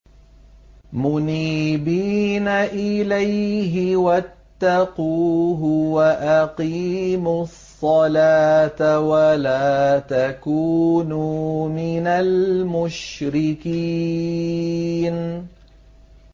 ۞ مُنِيبِينَ إِلَيْهِ وَاتَّقُوهُ وَأَقِيمُوا الصَّلَاةَ وَلَا تَكُونُوا مِنَ الْمُشْرِكِينَ